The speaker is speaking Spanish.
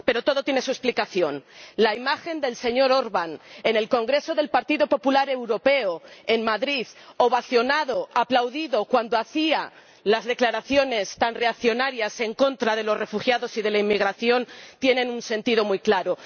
Pero todo tiene su explicación. La imagen del señor Orbán en el congreso del Partido Popular Europeo en Madrid, ovacionado, aplaudido, cuando hacía las declaraciones tan reaccionarias en contra de los refugiados y de la inmigración, tiene un sentido muy claro.